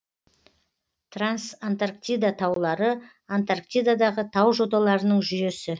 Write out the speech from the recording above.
трансантарктида таулары антарктидадағы тау жоталарының жүйесі